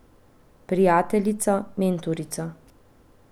Prijateljica, mentorica.